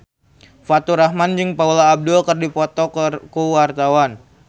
Faturrahman jeung Paula Abdul keur dipoto ku wartawan